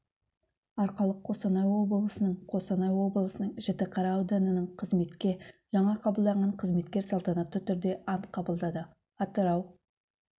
арқалық қостанай облысының қостанай облысының жітіқара ауданының қызметке жаңа қабылданған қызметкер салтанатты түрде ант қабылдады атырау